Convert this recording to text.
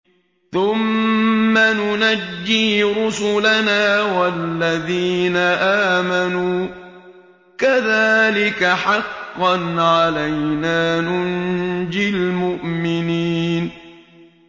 ثُمَّ نُنَجِّي رُسُلَنَا وَالَّذِينَ آمَنُوا ۚ كَذَٰلِكَ حَقًّا عَلَيْنَا نُنجِ الْمُؤْمِنِينَ